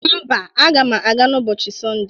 Mba, aga m aga n'ụbọcịi Sọnde.